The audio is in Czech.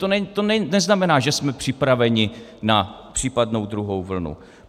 To neznamená, že jsme připraveni na případnou druhou vlnu.